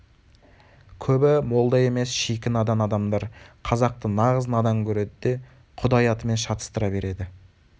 көбі молда емес шикі надан адамдар қазақты нағыз надан көреді де құдай атымен шатастыра береді